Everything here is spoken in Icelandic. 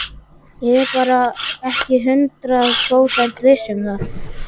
Ég er bara ekki hundrað prósent viss um það.